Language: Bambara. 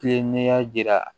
Tile n'i y'a jira